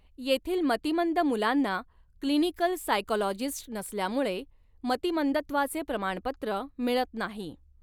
येथील मतिमंद मुलांना 'क्लिनिकल सायकॉलॉजिस्ट नसल्यामुळे मतिमंदत्वाचे प्रमाणपत्र मिळत नाही.